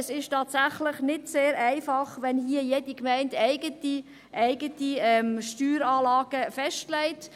Es ist tatsächlich nicht sehr einfach, wenn hier jede Gemeinde eigene Steueranlagen festlegt.